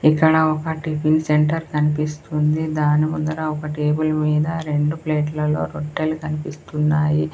ఇక్కడ ఒక tiffin centre కన్పిస్తుంది దాని ముందర ఒక టేబుల్ మీద రెండు ప్లేట్ లలో రొట్టెలు కన్పిస్తున్నాయి.